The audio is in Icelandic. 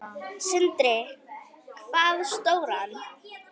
Sindri: Hvað stóran?